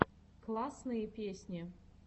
классные песни